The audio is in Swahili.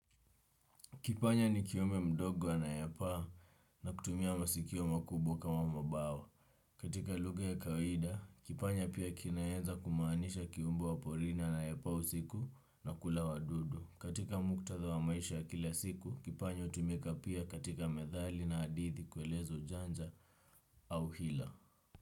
Kipanya ni kiumbe mdogo anayepaa na kutumia masikio makubwa kama mabawa. Katika lugha ya kawaida, kipanya pia kinaeza kumaanisha kiumbo waporini anayepaa usiku na kula wadudu. Katika muktadha wa maisha ya kila siku, kipanya utumika pia katika methali na hadithi kueleza ujanja au hila.